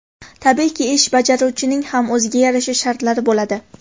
Tabiiyki, ish bajaruvchining ham o‘ziga yarasha shartlari bo‘ladi.